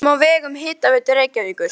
Reykjum á vegum Hitaveitu Reykjavíkur.